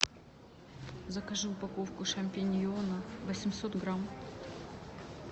закажи упаковку шампиньонов восемьсот грамм